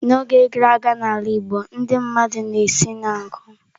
N'oge gara aga n'ala Igbo, ndị mmadụ na-esi n'nku.